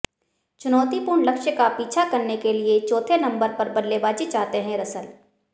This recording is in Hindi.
चुनौतीपूर्ण लक्ष्य का पीछा करने के लिए चौथे नंबर पर बल्लेबाजी चाहते हैं रसल